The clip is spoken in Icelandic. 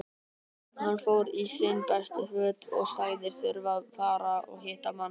Hann fór í sín bestu föt og sagðist þurfa að fara og hitta mann.